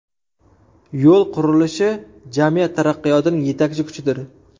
Yo‘l qurilishi – jamiyat taraqqiyotining yetakchi kuchidir.